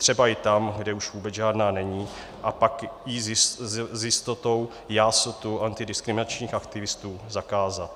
Třeba i tam, kde už vůbec žádná není, a pak ji s jistotou jásotu antidiskriminačních aktivistů zakázat.